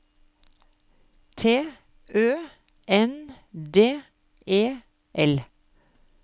T Ø N D E L